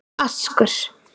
Askur